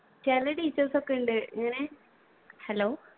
ചില teachers ഒക്കെ ഉണ്ട് ഇങ്ങനെ hello